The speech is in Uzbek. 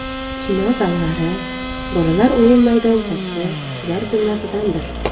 Kino zallari, bolalar o‘yin maydonchasi shular jumlasidandir.